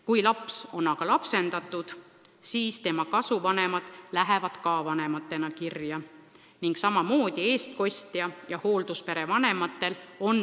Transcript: Kui laps on lapsendatud, siis tema kasuvanemad lähevad ka vanematena kirja ning samamoodi on õigus lapsepuhkusele eestkostjatel ja hoolduspere vanematel.